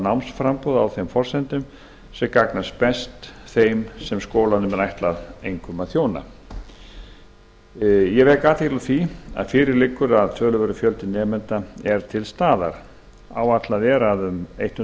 námsframboð á þeim forsendum sem gagnast best þeim sem skólanum er einkum ætlað að þjóna ég vek athygli á því að fyrir liggur að töluverður fjöldi nemenda er til staðar áætlað er að um